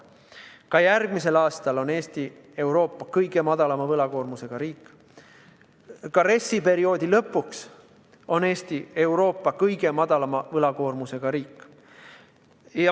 Ka järgmisel aastal on Eesti Euroopa kõige väiksema võlakoormusega riik, ka RES-i perioodi lõpus on Eesti Euroopa kõige väiksema võlakoormusega riik.